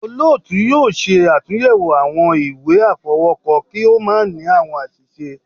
Olóòtú yóò ṣe àtúnyẹwò awọn ìwé afọwọkọ, ki o ma ni awọn aṣiṣe